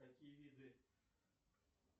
какие виды